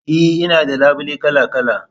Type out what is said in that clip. E, Ina da labule kala-kala